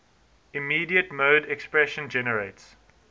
immediate mode expression generates